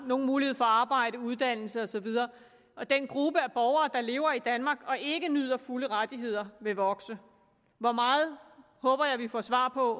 nogen mulighed for arbejde uddannelse og så videre og den gruppe af borgere der lever i danmark og ikke nyder fulde rettigheder vil vokse hvor meget håber jeg vi får svar på